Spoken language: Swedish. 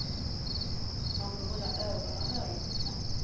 Man får hålla ögon och öron öppna.